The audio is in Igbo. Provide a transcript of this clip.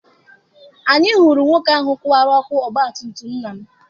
Anyị hụrụ nwoke ahụ kụwara ọkụ ọgbatumtum nna m.